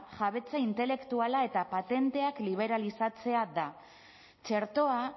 jabetza intelektuala eta patenteak liberalizatzea da txertoa